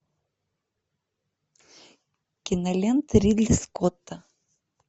кинолента ридли скотта